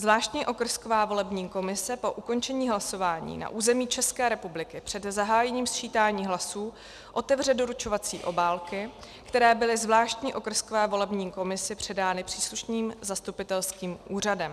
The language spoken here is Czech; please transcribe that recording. Zvláštní okrsková volební komise po ukončení hlasování na území České republiky před zahájením sčítání hlasů otevře doručovací obálky, které byly zvláštní okrskové volební komisi předány příslušným zastupitelským úřadem.